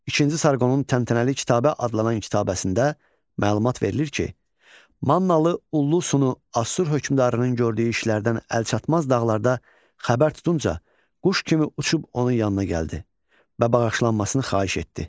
İkinci Sarqonun təmtənalı kitabə adlanan kitabəsində məlumat verilir ki, Mannalı Ullusunu Assur hökmdarının gördüyü işlərdən əlçatmaz dağlarda xəbər tutunca quş kimi uçub onun yanına gəldi və bağışlanmasını xahiş etdi.